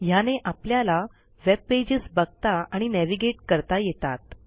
ह्याने आपल्याला web pages बघता आणि नॅव्हिगेट करता येतात